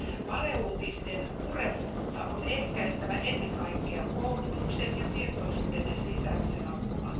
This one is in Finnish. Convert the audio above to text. Valeuutisten purevuutta on ehkäistävä ennen kaikkea koulutuksen ja tietoisuuden lisäämisen avulla.